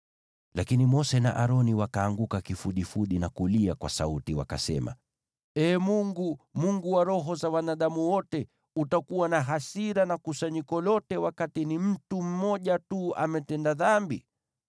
Lakini Mose na Aroni wakaanguka kufudifudi na kulia kwa sauti, wakasema, “Ee Mungu, Mungu wa roho za wanadamu wote, utakuwa na hasira na kusanyiko lote wakati ni mtu mmoja tu ametenda dhambi?”